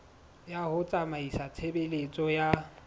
ya ho tsamaisa tshebeletso ya